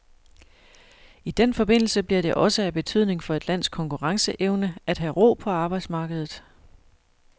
I den forbindelse bliver det også af betydning for et lands konkurrenceevne at have ro på arbejdsmarkedet.